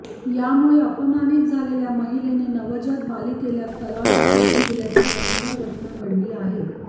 यामुळे अपमानित झालेल्या महिलेने नवजात बालिकेला तलावात फेकून दिल्याची भयंकर घटना घडली आहे